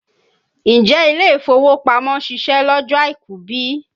Ǹjẹ́ ilé-ìfowópamọ́ ṣiṣẹ́ lọ́jọ́ àìkú bí?